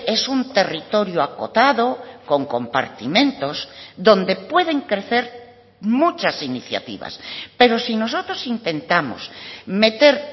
es un territorio acotado con compartimentos donde pueden crecer muchas iniciativas pero si nosotros intentamos meter